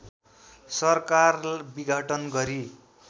सरकार विघटन गरी